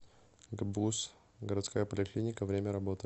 гбуз городская поликлиника время работы